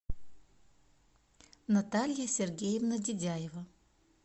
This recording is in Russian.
наталья сергеевна дидяева